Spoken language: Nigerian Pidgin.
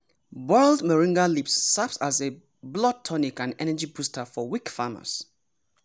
boiled moringa leaves serve as a blood tonic and energy booster for weak farmers.